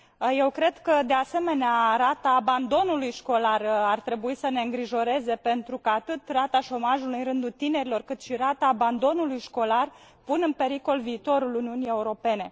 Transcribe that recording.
Eu cred că, de asemenea, rata abandonului școlar ar trebui să ne îngrijoreze, pentru că atât rata șomajului în rândul tinerilor, cât și rata abandonului școlar pun în pericol viitorul Uniunii Europene.